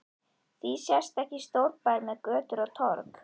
Því sést ekki stórbær með götur og torg?